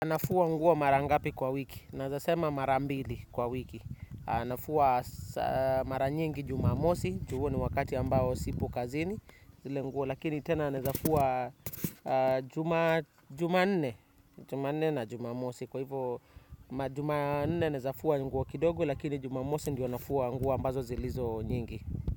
Nafua nguo mara ngapi kwa wiki, nezasema mara mbili kwa wiki. Anafua mara nyingi jumamosi, ju huu ni wakati ambao sipo kazini, zile nguo, lakini tena nezafua juma nne na jumamosi. Kwa hivyo, jumane nezafuwa nguwa kidogu, lakini jumamosi ndiyo nafua nguo ambazo zilizo nyingi.